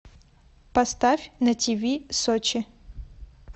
поставь на тиви сочи